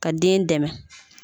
Ka den dɛmɛ